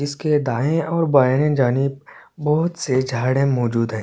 इसके दाएं और बाएं जानी बहुत से झाड़ मौजूद है।